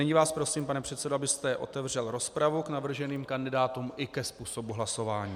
Nyní vás prosím, pane předsedo, abyste otevřel rozpravu k navrženým kandidátům i ke způsobu hlasování.